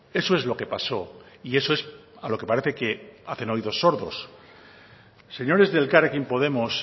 eso es lo que pasó y eso es a lo que parece que hacen oídos sordos señores de elkarrekin podemos